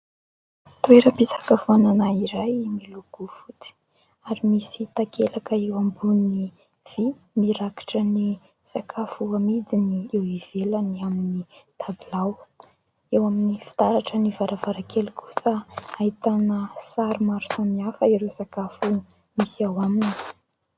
Toeram-pisakafoanana iray miloko fotsy ary misy takelaka eo ambony vy mirakitra ny sakafo amidiny eo ivelany amin'ny "tabilao". Eo amin'ny fitaratra ny varavarankely kosa ahitana sary maro samihafa ireo sakafo misy ao aminy.